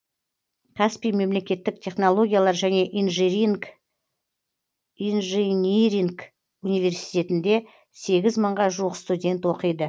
каспий мемлекеттік технологиялар және инжиниринг университетінде сегіз мыңға жуық студент оқиды